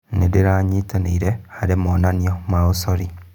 Ndĩranyitanĩire harĩ monanio ma ũcori.